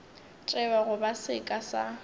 tšewa go ba seka sa